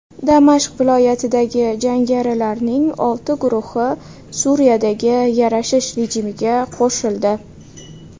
Damashq viloyatidagi jangarilarning olti guruhi Suriyadagi yarashish rejimiga qo‘shildi.